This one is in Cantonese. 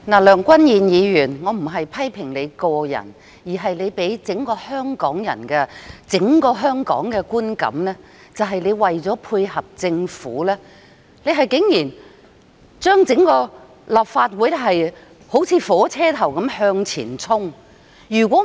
梁君彥議員，我不是批評你個人，而是你給予整個香港的觀感，即你為求配合政府而令整個立法會像火車頭般向前衝。